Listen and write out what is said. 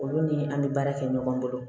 Olu ni an be baara kɛ ɲɔgɔn bolo